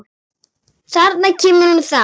Þarna kemur hún þá!